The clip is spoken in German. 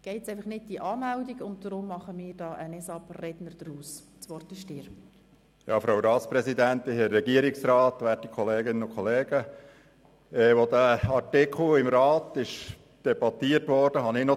Letzten Sommer kam es in Schwarzenburg zu einem grösseren Polizeieinsatz, als zwei eritreische Gruppen aufeinandertrafen.